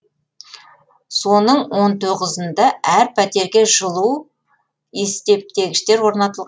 соның он тоғызынында әр пәтерге жылу есептегіштер орнатыл